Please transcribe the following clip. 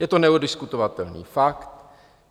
Je to neoddiskutovatelný fakt.